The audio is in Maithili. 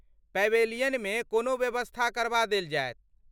पैवेलियनमे कोनो व्यवस्था करबा देल जाएत।